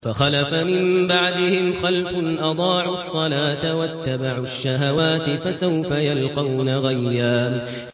۞ فَخَلَفَ مِن بَعْدِهِمْ خَلْفٌ أَضَاعُوا الصَّلَاةَ وَاتَّبَعُوا الشَّهَوَاتِ ۖ فَسَوْفَ يَلْقَوْنَ غَيًّا